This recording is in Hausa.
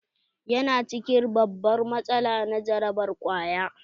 Ya na cikin babbar matsala na jarabar ƙwaya.